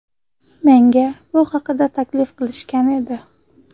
Menga bu haqida taklif qilishgan edi.